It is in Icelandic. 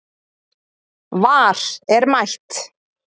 VAR er mætt